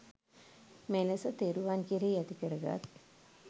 මෙලෙස තෙරුවන් කෙරෙහි ඇතිකර ගත්